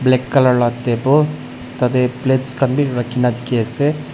black colour la table tateh plates khan bi rakhina dikhi ase.